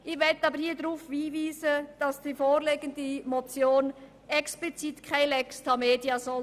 Ich möchte hier aber darauf hinweisen, dass die vorliegende Motion explizit keine «Lex Tamedia» sein soll.